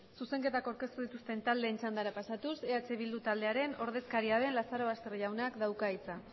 zuzenketak aurkeztu dituzten taldeen txandara pasatuz eh bildu taldearen ordezkaria den lazarobaster jaunak dauka hitza